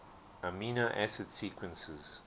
amino acid sequences